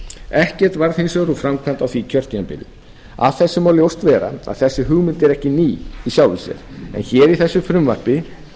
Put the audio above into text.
ekkert varð hins vegar úr framkvæmd á því kjörtímabili af þessu má ljóst vera að þessi hugmynd er ekki ný í sjálfu sér en hér í þessu frumvarpi